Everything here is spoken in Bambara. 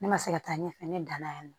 Ne ma se ka taa ɲɛfɛ ne danna yan nɔ